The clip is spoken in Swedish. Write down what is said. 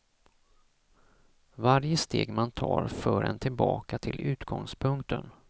Varje steg man tar för en tillbaka till utgångspunkten.